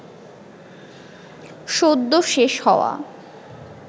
সদ্য শেষ হওয়া